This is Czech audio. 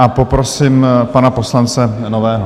Nyní prosím pana poslance Nového.